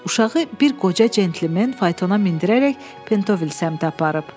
uşağı bir qoca centlmen faytona mindirərək Pentovil səmtə aparıb.